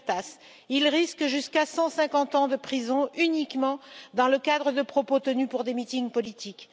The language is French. Demirtas, il risque jusqu'à 150 ans de prison uniquement dans le cadre de propos tenus lors de meetings politiques.